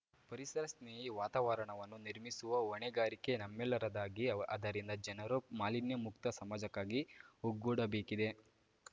ಪರಿಸರ ಸ್ನೇಹಿ ವಾತಾವರಣವನ್ನು ನಿರ್ಮಿಸುವ ಹೊಣೆಗಾರಿಕೆ ನಮ್ಮೆಲ್ಲರದಾಗಿ ಆದ್ದರಿಂದ ಜನರೂ ಮಾಲಿನ್ಯಮುಕ್ತ ಸಮಾಜಕ್ಕಾಗಿ ಒಗ್ಗೂಡಬೇಕಿದೆ